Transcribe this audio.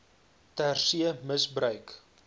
ter see misbruik